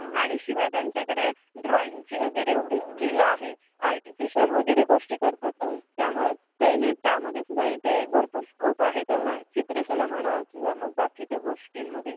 आणि शिवाय त्यांच्याकडे ड्रॉइंगची वगैरे येवडी स्किल आहे ARTIFICIAL वगैरे गोष्टी करतात त्यामुळे ते ही त्यामध्ये सुद्धा इथे भरपूर स्कोप आहे त्यांना चित्रकला म्हणा किंवा मग बाकीच्या गोष्टींमध्ये